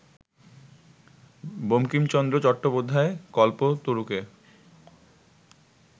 Bankimchandra Chattopadhyay কল্পতরুকে